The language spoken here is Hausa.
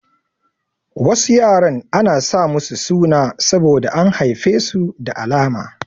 Wasu yaran ana sa musu suna saboda an haife su da alama.